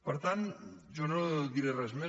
per tant jo no diré res més